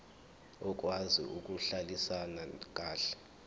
okwazi ukuhlalisana kahle